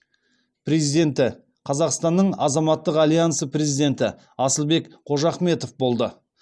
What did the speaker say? президенті қазақстанның азаматтық альянсының президенті асылбек қожахметов болды